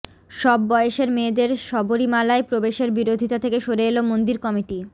সব বয়সের মেয়েদের শবরীমালায় প্রবেশের বিরোধিতা থেকে সরে এল মন্দির কমিটি